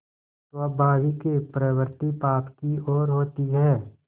स्वाभाविक प्रवृत्ति पाप की ओर होती है